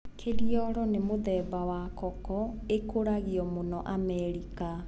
Kiriolo ni mũthemba wa koko ĩkũragio mũno Amerika.